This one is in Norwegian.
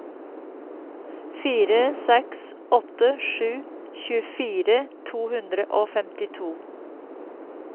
fire seks åtte sju tjuefire to hundre og femtito